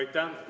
Aitäh!